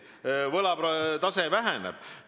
Nii et võlatase väheneb.